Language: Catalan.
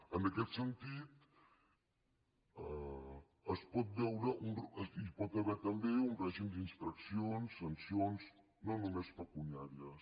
en aquest sentit hi pot haver també un règim d’infraccions sancions no només pecuniàries